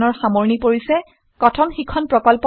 কথন শিক্ষণ প্ৰকল্প তাল্ক ত a টিচাৰ প্ৰকল্পৰ এটা অংগ